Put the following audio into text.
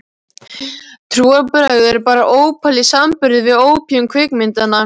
Trúarbrögð eru bara ópal í samanburði við ópíum kvikmyndanna.